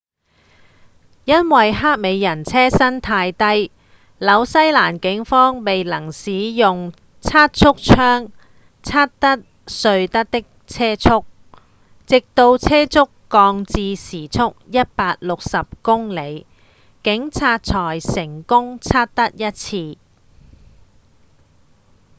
因為黑美人車身太低紐西蘭警方未能使用測速槍測得瑞德的車速直到車速降至時速160公里警察才成功測得一次